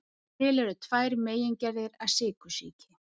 Til eru tvær megingerðir af sykursýki.